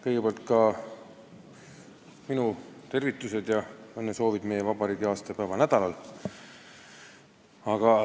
Kõigepealt ka minu tervitused ja õnnesoovid meie vabariigi aastapäeva nädalal!